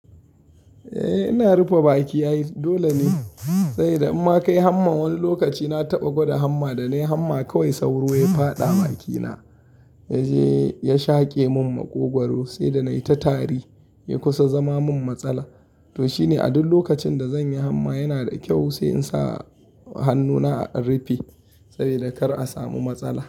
Eh ina rufe bakina. Dole ne saboda in ma ka yi hamma wani lokaci na taɓa gwada hamma da na yi hamma kawai sauro ya faɗa bakina, ya je ya shake mun maƙogwaro sai da na yi ta tari ya kusa zama min matsala. To shine a duk lokacin da zan yi hamma yana da kyau sai in sa hannuna in rufe saboda kar a samu matsala.